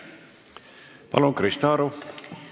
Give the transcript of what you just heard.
Palun, Krista Aru!